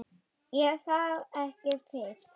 Er það ekki Fis?